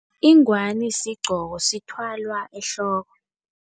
Ingwani sigqoko, sithwalwa ehloko.